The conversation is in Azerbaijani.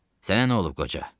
Sənə nə olub qoca?